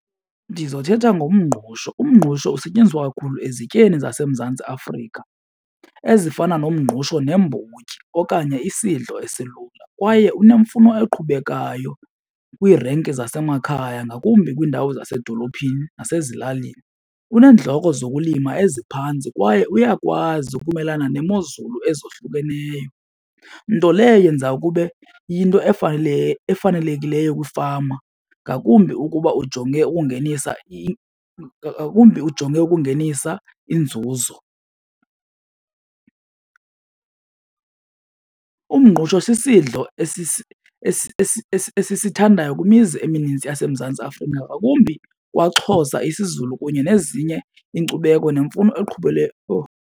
Ndizothetha ngomngqusho. Umngqusho usetyenziswa kakhulu ezityeni zaseMzantsi Afrika ezifana nomngqusho neembotyi okanye isidlo esilula kwaye unemfuno eqhubekayo kwiirenki zasemakhaya, ngakumbi kwiindawo zasedolophini nasezilalini. Uneenndleko zokulima eziphantsi kwaye uyakwazi ukumelana neemozulu ezohlukeneyo. Nto leyo eyenza kube yinto efanelekileyo kwiifama, ngakumbi ukuba ujonge ukungenisa , ngakumbi ukuba ujonge ukungenisa inzuzo. Umngqusho sisidlo esisithandayo kwimizi emininzi yaseMzantsi Afrika, ngakumbi kwaXhosa isiZulu kunye nezinye iinkcubeko nemfuno .